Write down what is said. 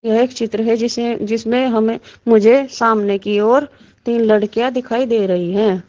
यह एक चित्र है जिसे जिसमें हमें मुझे सामने की ओर तीन लड़कियां दिखाई दे रही हैं।